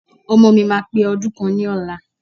Ọmọọ̀ mi máa pè ọdún kan ni ọ̀la.